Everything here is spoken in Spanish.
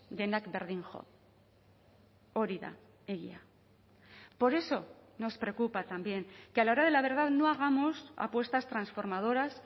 denak berdin jo hori da egia por eso nos preocupa también que a la hora de la verdad no hagamos apuestas transformadoras